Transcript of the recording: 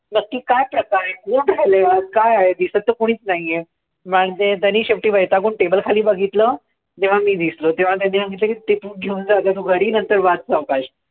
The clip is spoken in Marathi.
नक्की काय प्रकार आहे? कोण राहिलंय आत? काय आहे? दिसत तर कोणीच नाहीय. मग त्यांनी शेवटी वैतागून table खाली बघितलं, तेंव्हा मी दिसलो. तेंव्हा त्यांनी सांगितलं की ते तू घेऊन जा आता तू घरी, नंतर वाच सावकाश.